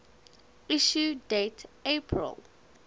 issue date april